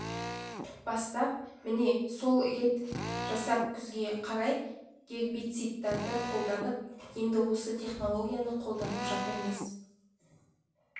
бастап міне сол рет жасап күзге қарай гербицидтарды қолданып енді осы технологияны қолданып жатырмыз